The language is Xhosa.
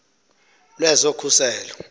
lwezokhuseleko